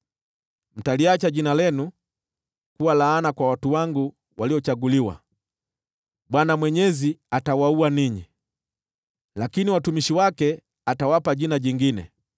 Mtaliacha jina lenu kuwa laana kwa watu wangu waliochaguliwa; Bwana Mwenyezi atawaua ninyi, lakini watumishi wake atawapa jina jingine.